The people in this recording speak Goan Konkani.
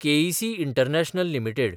K E C international limited